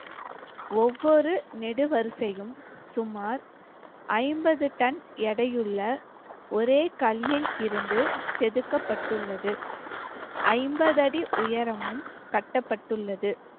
ஒவ்வொரு நெடு வரிசையும் சுமார் ஐம்பது டன் எடையுள்ள ஒரே கல்லில் இருந்து செதுக்கப்பட்டுள்ளது ஐம்பது அடி உயரமும் கட்டப்பட்டுள்ளது.